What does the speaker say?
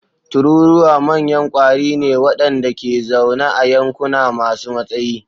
Tururuwa manyan ƙwari ne waɗanda ke zaune a yankuna masu matsayi.